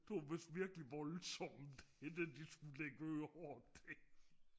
det var vidst virkelig voldssomt det I skulle lægge ører til